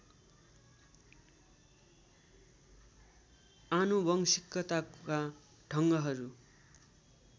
आनुवंशिकताका ढङ्गहरू